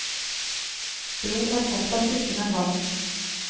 Blod er fortsatt tykkere enn vann.